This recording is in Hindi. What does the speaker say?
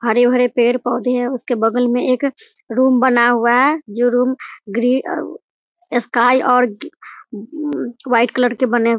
हरे -भरे पेड़ -पोधे है उसके बगल में एक रूम बना हुआ है जो रूम ग्रे और स्काई और वाइट कलर के बने है ।